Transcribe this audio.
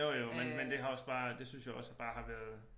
Jo jo men men det har også bare det synes jeg også bare har været